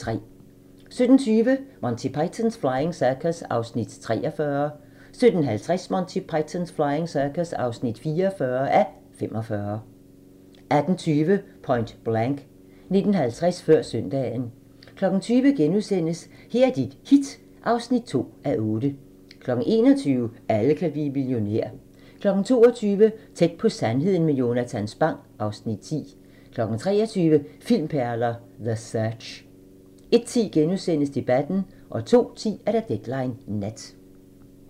17:20: Monty Python's Flying Circus (43:45) 17:50: Monty Python's Flying Circus (44:45) 18:20: Point Blank 19:50: Før søndagen 20:00: Her er dit hit (2:8)* 21:00: Alle kan blive millionær 22:00: Tæt på sandheden med Jonatan Spang (Afs. 10) 23:00: Filmperler: The Search 01:10: Debatten * 02:10: Deadline Nat